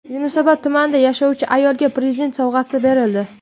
Yunusobod tumanida yashovchi ayolga Prezident sovg‘asi berildi.